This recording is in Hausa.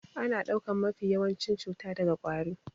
Ana ɗaukan mafi yawancin cuta daga ƙwari